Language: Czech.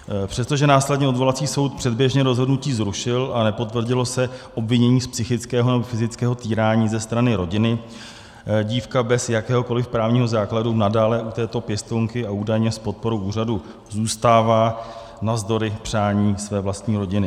Přesto, že následně odvolací soud předběžně rozhodnutí zrušil a nepotvrdilo se obvinění z psychického nebo fyzického týrání ze strany rodiny, dívka bez jakéhokoliv právního základu nadále u této pěstounky, a údajně s podporou úřadu, zůstává navzdory přání své vlastní rodiny.